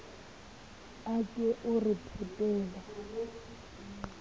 a ke o re phetele